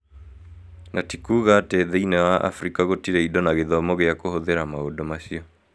Na ti kuuga atĩ thĩinĩ wa Afrika gũtirĩ indo na gĩthomo gĩa kũhũthĩra maũndũ macio.